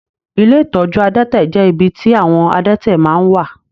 Ilé ìtọ́jú adẹ́tẹ̀ jẹ ibì tí àwọn adẹ́tẹ̀ máa n wà.